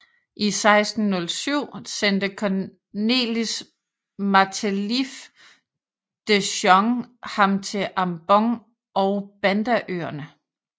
I 1607 sendte Cornelis Matelieff de Jonge ham til Ambon og Bandaøerne